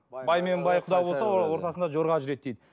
бай мен бай құда болса ортасында жорға жүреді дейді